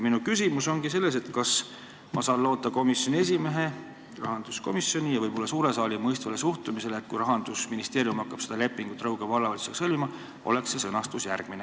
Minu küsimus ongi selles, kas ma saan loota komisjoni esimehe, rahanduskomisjoni ja võib-olla ka suure saali mõistvale suhtumisele, et kui Rahandusministeerium hakkab Rõuge Vallavalitsusega lepingut sõlmima, siis on see sõnastus selline.